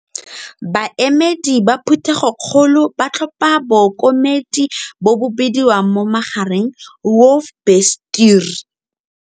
Baemedi ba Phuthegokgolo ba tlhopha Bookomedi, bo bo bidiwang mo magareng, hoofbestuur.